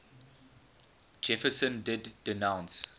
jefferson did denounce